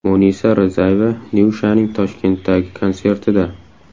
Munisa Rizayeva Nyushaning Toshkentdagi konsertida.